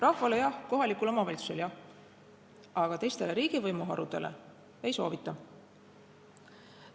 Rahvale jah, kohalikule omavalitsusele jah, aga teistele riigivõimu harudele ei soovita.